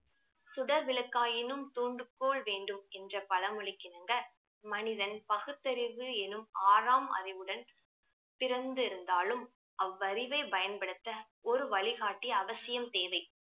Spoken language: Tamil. சுடர் விளக்காயினும் தூண்டுகோல் வேண்டும் என்ற பழமொழிக்கு இணங்க மனிதன் பகுத்தறிவு எனும் ஆறாம் அறிவுடன் பிறந்திருந்தாலும் அவ்வரிவை பயன்படுத்த ஒரு வழிகாட்டி அவசியம் தேவை